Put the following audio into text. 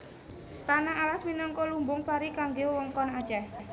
Tanah Alas minangka lumbung pari kanggé wewengkon Aceh